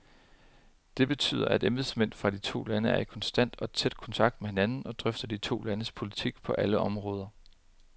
Det betyder, at embedsmænd fra de to lande er i konstant og tæt kontakt med hinanden og drøfter de to landes politik på alle områder.